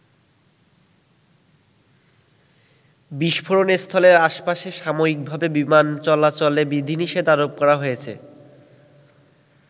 বিষ্ফোরণস্থলের আশপাশে সাময়িকভাবে বিমান চলাচলে বিধিনিষেধ আরোপ করা হয়েছে।